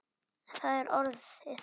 Það er orðið.